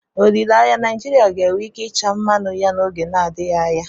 Olileanya, Naijiria ga-enwe ike ịcha mmanụ ya n'oge na-adịghị anya.